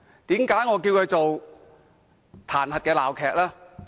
為何我稱它為彈劾鬧劇？